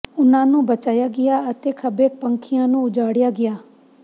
ਉਨ੍ਹਾਂ ਨੂੰ ਬਚਾਇਆ ਗਿਆ ਅਤੇ ਖੱਬੇਪੱਖੀਆਂ ਨੂੰ ਉਜਾੜਿਆ ਗਿਆ